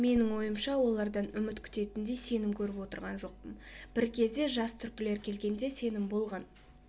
менің ойымша олардан үміт күтетіндей сенім көріп отырған жоқпын бір кезде жас түркілер келгенде сенім болған